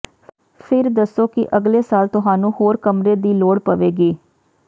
ਫਿਰ ਦੱਸੋ ਕਿ ਅਗਲੇ ਸਾਲ ਤੁਹਾਨੂੰ ਹੋਰ ਕਮਰੇ ਦੀ ਲੋੜ ਪਵੇਗੀ